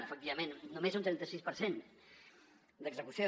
efectivament només un trenta sis per cent d’execució